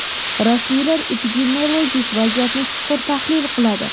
Rasmiylar epidemiologik vaziyatni chuqur tahlil qiladi.